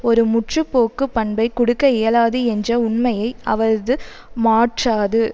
ஒரு முற்றுபோக்கு பண்பை கொடுக்க இயலாது என்ற உண்மையை அவரது மாற்றாது